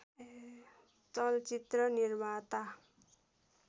चलचित्र निर्माता